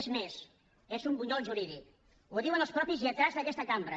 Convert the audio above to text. és més és un bunyol jurídic ho diuen els mateixos lletrats d’aquesta cambra